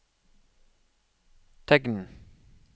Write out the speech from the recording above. tegn